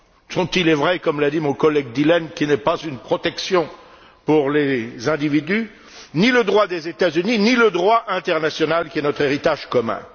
dont il est vrai, comme l'a dit mon collègue Dillen, qu'il n'est pas une protection pour les individus ni le droit des États Unis, ni le droit international qui est notre héritage commun.